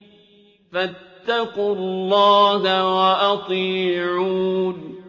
فَاتَّقُوا اللَّهَ وَأَطِيعُونِ